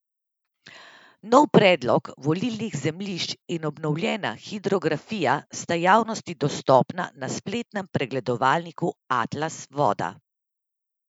Nov predlog vodnih zemljišč in obnovljena hidrografija sta javnosti dostopna na spletnem pregledovalniku Atlas voda.